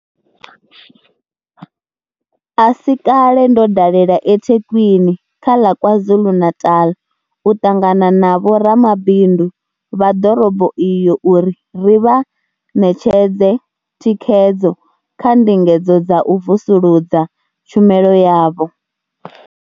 A si kale ndo dalela eThekwini kha ḽa KwaZulu-Natal u ṱangana na vhoramabindu vha ḓorobo iyo uri ri vha ṋetshedze thikhedzo kha ndingedzo dza u vusuludza tshumelo yavho.